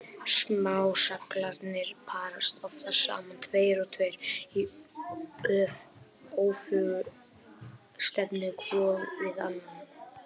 Smá-seglarnir parast oftast saman tveir og tveir í öfuga stefnu hvor við annan.